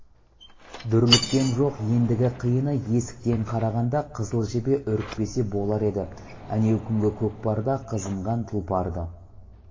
дүрліккен жоқ ендігі қиыны есіктен қарағанда қызыл жебе үрікпесе болар еді әнеу күнгі көкпарда қызынған тұлпарды